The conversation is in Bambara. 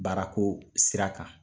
Baarako sira kan.